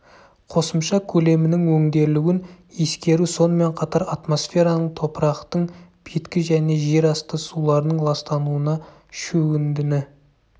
қосымша көлемінің өңделуін ескеру сонымен қатар атмосфераның топырақтың беткі және жер асты суларының ластануына шөгіндіні